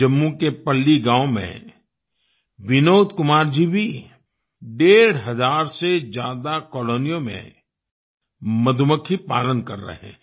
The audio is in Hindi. जम्मू के पल्ली गाँव में विनोद कुमार जी भी डेढ़ हज़ार से ज्यादा कॉलोनियों में मधुमक्खी पालन कर रहे हैं